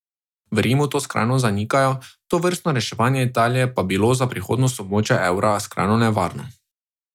V Rimu to glasno zanikajo, tovrstno reševanje Italije pa bilo za prihodnost območja evra skrajno nevarno.